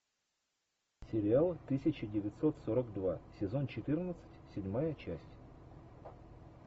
сериал тысяча девятьсот сорок два сезон четырнадцать седьмая часть